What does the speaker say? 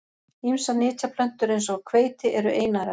Ýmsar nytjaplöntur eins og hveiti eru einærar.